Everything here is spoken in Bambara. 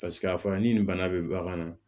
Paseke a fɔra ni nin bana bɛ bagan na